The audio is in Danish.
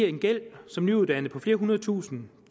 en gæld som nyuddannet på flere hundrede tusinde